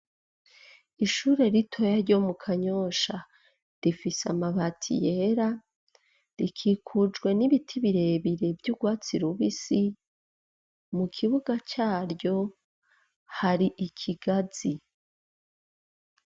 Ishure ritoya ryo mu Kanyosha, rifise amabati yera, rikikujwe n'ibiti vyiza vy'urwatsi rubisi, mu kibuga caryo hari ikigazi.